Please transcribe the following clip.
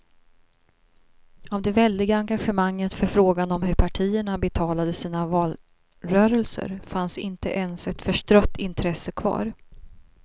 Av det väldiga engagemanget för frågan om hur partierna betalade sina valrörelser fanns inte ens ett förstrött intresse kvar.